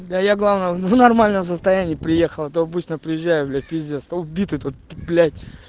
да я главное в нормальном состоянии приехал а то обычно приезжаю блять пиздец то убитый то блять